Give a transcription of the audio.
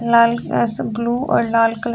लाल glass में blue और लाल कलर --